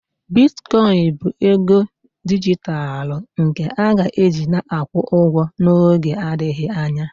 Bitkoịn bụ ego dijitalụ nke a ga-eji na-akwụ ụgwọ n'oge adịghị anya